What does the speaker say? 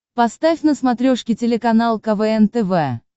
поставь на смотрешке телеканал квн тв